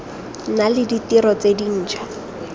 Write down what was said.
nna le ditiro tse dintšhwa